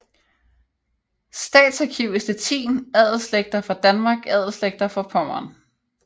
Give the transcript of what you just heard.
Staatsarchiv i Stettin Adelsslægter fra Danmark Adelsslægter fra Pommern